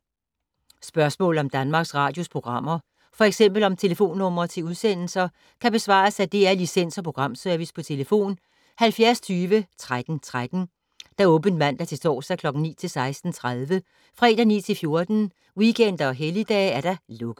Spørgsmål om Danmarks Radios programmer, f.eks. om telefonnumre til udsendelser, kan besvares af DR Licens- og Programservice: tlf. 70 20 13 13, åbent mandag-torsdag 9.00-16.30, fredag 9.00-14.00, weekender og helligdage: lukket.